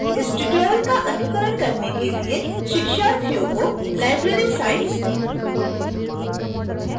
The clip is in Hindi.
इस tutorial का अनुकरण करने के लिए शिक्षार्थियों को library science